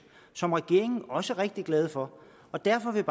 som regeringen også er rigtig glad for og derfor vil